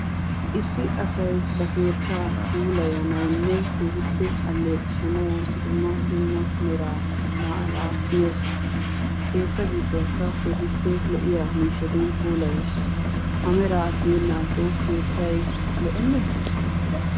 Issi asay ba keettaa puulayanawunne keehippe alleeqisanaw dumma dumma mera maara tiyees. Keetta gidduwakka dumma dumma lo"iya miishshatun puulayees. Ha meraa tiyyenakko keettay lo"enne?